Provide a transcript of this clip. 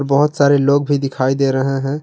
बहोत सारे लोग भी दिखाई दे रहे हैं।